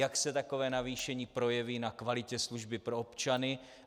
Jak se takové navýšení projeví na kvalitě služby pro občany?